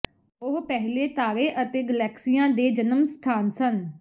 ਉਹ ਪਹਿਲੇ ਤਾਰੇ ਅਤੇ ਗਲੈਕਸੀਆਂ ਦੇ ਜਨਮ ਸਥਾਨ ਸਨ